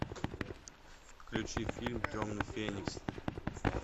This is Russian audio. включи фильм темный феникс